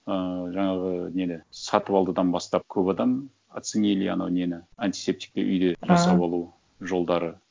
ыыы жаңағы неде сатыбалдыдан бастап көп адам оценили ана нені антисептикті үйде жасап алу жолдары